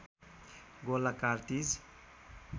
Gola cartridge